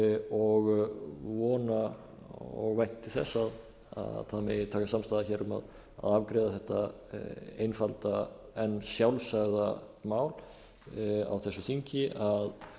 og vona og vænti þess að það megi takast samstaða um að afgreiða þetta einfalda en sjálfsagða mál á þessu þingi að